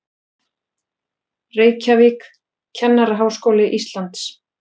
Reykjavík, Kennaraháskóli Íslands.